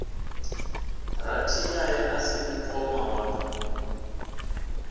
rathiyaya a si mukoma wa